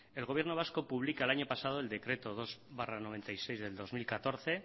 el gobierno vasco publica el año pasado el decreto dos barra noventa y seis del dos mil catorce